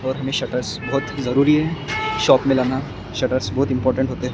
और हमें शटर बहोत जरूरी है शॉप में लाना शटर बहोत इंपॉर्टेंट होते--